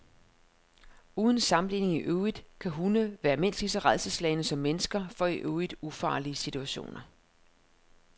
Uden sammenligning i øvrigt kan hunde være mindst lige så rædselsslagne som mennesker for i øvrigt ufarlige situationer.